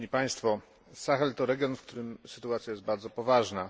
Sahel to region, w którym sytuacja jest bardzo poważna.